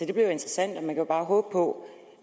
det bliver jo interessant man kan bare håbe på